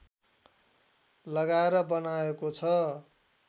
लगाएर बनाएको छ